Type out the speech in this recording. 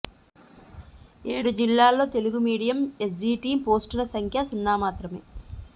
ఏడు జిల్లాల్లో Telugu medium SGT పోస్టుల సంఖ్య సున్నా మాత్రమే